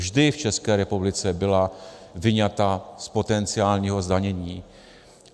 Vždy v České republice byla vyňata z potenciálního zdanění.